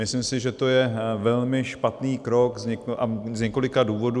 Myslím si, že to je velmi špatný krok, z několika důvodů.